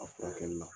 A furakɛli la